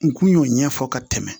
N kun y'o ɲɛfɔ ka tɛmɛ